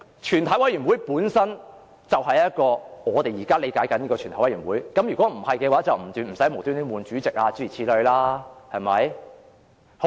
全體委員會本身便是我們現在理解的全體委員會，否則便無須更換主席，對嗎？